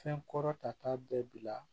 Fɛn kɔrɔ ta ta bɛɛ bila